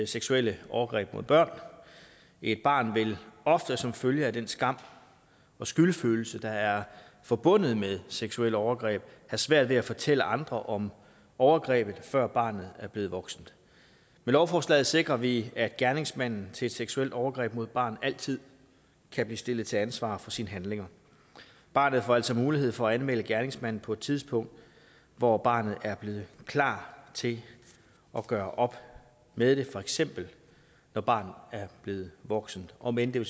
seksuelle overgreb mod børn et barn vil ofte som følge af den skam og skyldfølelse der er forbundet med seksuelle overgreb have svært ved at fortælle andre om overgrebet før barnet er blevet voksen med lovforslaget sikrer vi at gerningsmanden til et seksuelt overgreb mod et barn altid kan blive stillet til ansvar for sine handlinger barnet får altså mulighed for at anmelde gerningsmanden på et tidspunkt hvor barnet er blevet klar til at gøre op med det for eksempel når barnet er blevet voksen om end det